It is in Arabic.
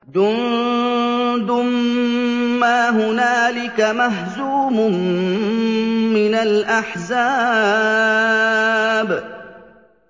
جُندٌ مَّا هُنَالِكَ مَهْزُومٌ مِّنَ الْأَحْزَابِ